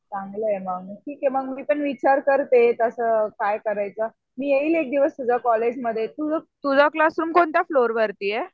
चांगलं आहे मग ठीक आहे मग मी पण विचार करते कसं काय करायचं. मी येईल एक दिवस तुझ्या कॉलेजमध्ये तुझा क्लासरूम कोणत्या फ्लोअर वरती आहे?